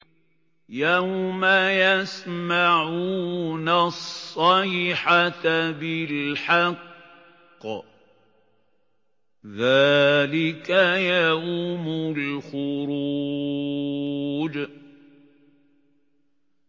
يَوْمَ يَسْمَعُونَ الصَّيْحَةَ بِالْحَقِّ ۚ ذَٰلِكَ يَوْمُ الْخُرُوجِ